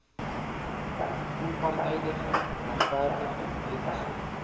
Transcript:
onpartydige regverdige etiese